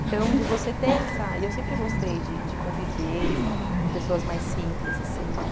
Então, de você ter essa... E eu sempre gostei de conviver com pessoas mais simples, assim, né?